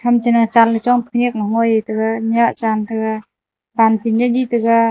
tham cha nya chanley chongpa khanyak lo ngoi taga nyah chantaga pan phanye ni taga.